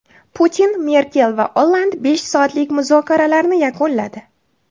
Putin, Merkel va Olland besh soatlik muzokaralarni yakunladi.